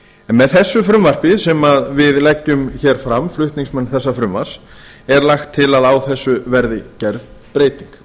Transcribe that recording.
með þessu frumvarpi sem við leggjum hér fram flutningsmenn þessa fruvmarps er lagt til að á þessu verði gerð breyting